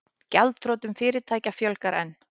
Gjaldþrotum fyrirtækja fjölgar enn